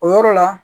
O yɔrɔ la